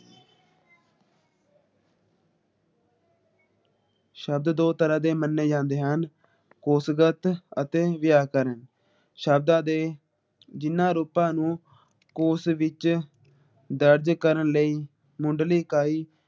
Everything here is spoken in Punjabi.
ਸ਼ਬਦ ਦੋ ਤਰਾਂ ਦੇ ਮੰਨੇ ਜਾਂਦੇ ਹਨ । ਕੋਸ਼ਗਤ ਅਤੇ ਵਿਆਕਰਨ ਸ਼ਬਦਾਂ ਦੇ ਜਿਨ੍ਹਾਂ ਰੁੱਤਾ ਨੂੰ ਕੋਸ਼ ਵਿੱਚ ਦਰਜ ਕਰਨ ਲਈ ਮੁਢਲੀ ਇਕਾਈ